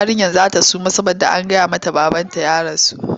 Yarinyar za ta suma saboda an faɗa mata babanta ya rasu.